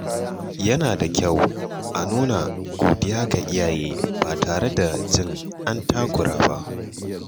Yana da kyau a nuna godiya ga iyaye ba tare da jin an takura ba.